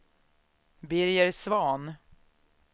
Birger Svahn